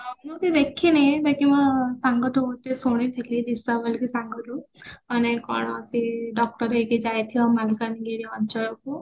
ମୁଁ ବି ଦେଖିନି ବାକି ମୋ ସାଙ୍ଗଠୁ ଗୋଟେ ଶୁଣିଥିଲି ଲିସା ବୋଲିକି ସାଙ୍ଗଠୁ ମାନେ କଣ ସିଏ doctor ହେଇକି ଯାଇଥିବା ମାଲକାନାଗିରି ଅଞ୍ଚଳକୁ